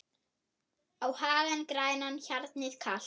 á hagann grænan, hjarnið kalt